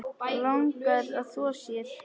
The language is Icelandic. Langar að þvo sér.